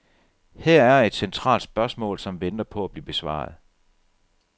Her er et centralt spørgsmål, som venter på at blive besvaret.